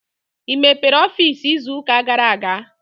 I mepere ọfiisi izu ụka gara aga?